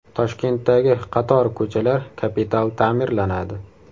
Toshkentdagi qator ko‘chalar kapital ta’mirlanadi.